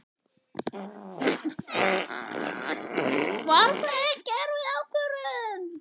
Magnús Hlynur Hreiðarsson: Var það ekki erfið ákvörðun?